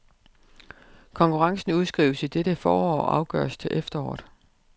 Konkurrencen udskrives i dette forår og afgøres til efteråret.